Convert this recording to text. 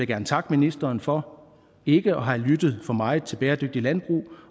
gerne takke ministeren for ikke at have lyttet for meget til bæredygtigt landbrug